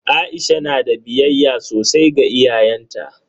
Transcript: Aisha na da biyayya sosai ga iyayenta.